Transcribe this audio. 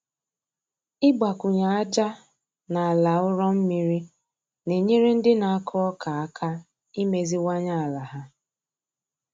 Ịgbakwunye aja na ala ụrọ mmiri na-enyere ndị na-akụ ọka aka imeziwanye ala ha.